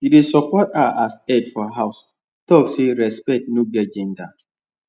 he dey support her as head for house talk say respect no get gender